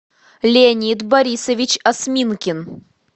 леонид борисович осминкин